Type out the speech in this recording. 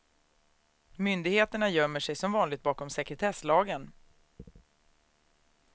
Myndigheterna gömmer sig som vanligt bakom sekretesslagen.